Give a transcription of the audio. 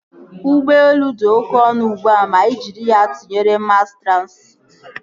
Ụgbọelu dị oké ọnụ ugbua ma ị jiri ya tụnyere mas transịti